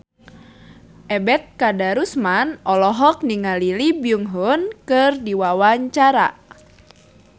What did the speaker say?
Ebet Kadarusman olohok ningali Lee Byung Hun keur diwawancara